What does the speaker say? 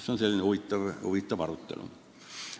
See oli selline huvitav arutelu.